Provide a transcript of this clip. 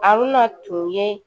A bɛ na tun ye